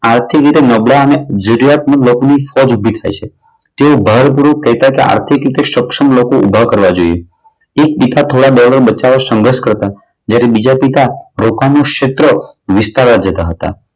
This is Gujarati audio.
આર્થિક રીતે નબળા અને જરૂરિયાતમંદ લોકોને ઉપજ ઊભી થાય છે. તેઓ ભાર ગૃહ કહેતા કે આર્થિક રીતે સક્ષમ લોકો ઊભા કરવા જોઈએ. એક પિતા બચાવવા સંઘર્ષ કરતા. જ્યારે બીજા પિતા પોતાનું ક્ષેત્ર વિસ્તારવા જતા હતા.